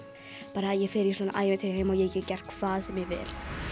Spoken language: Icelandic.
bara ég fer í svona ævintýraheim og ég get gert hvað sem ég vil